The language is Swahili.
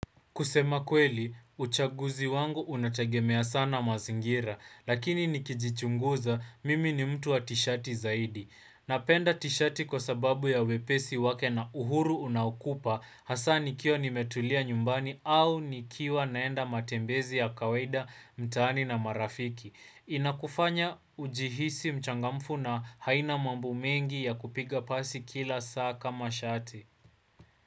Kusema kweli, uchaguzi wangu una tegemea sana mazingira, lakini nikijichunguza mimi ni mtu wa tishati zaidi. Napenda tishati kwa sababu ya wepesi wake na uhuru unaokupa hasa nikiwa nimetulia nyumbani au nikiwa naenda matembezi ya kawaida mtaani na marafiki. Inakufanya ujihisi mchangamfu na haina mambo mengi ya kupiga pasi kila saa kama shati.